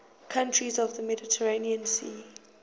countries of the mediterranean sea